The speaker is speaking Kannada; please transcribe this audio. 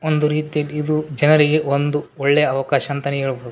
ಒಂದು ರೀತಿಯಲ್ ಇದು ಜನರಿಗೆ ಒಂದು ಒಳ್ಳೆಯ ಅವಕಾಶ ಅಂತಾನೆ ಹೇಳ್ಬಹುದು --